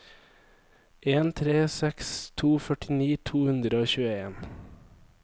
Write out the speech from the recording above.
en tre seks to førtini to hundre og tjueen